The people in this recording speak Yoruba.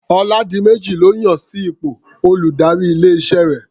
Ọládiméjì lọ́ yàn sí ipò olùdarí ilé-iṣẹ́ rẹ̀.